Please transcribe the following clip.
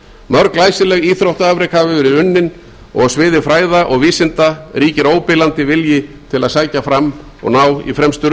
mörg glæsileg íþróttaafrek hafa verið unnin og á sviði fræða og vísinda ríkir óbilandi vilji til að sækja fram og ná í fremstu